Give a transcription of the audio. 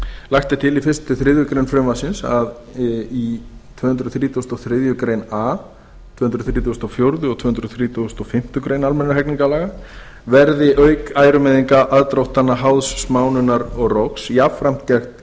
lagt er til í fyrsta til þriðju greinar frumvarpsins að í tvö hundruð þrítugustu og þriðju grein a tvö hundruð þrítugustu og fjórða og tvö hundruð þrítugustu og fimmtu grein almennra hegningarlaga verði auk ærumeiðinga aðdróttana háðs smánunar og rógs jafnframt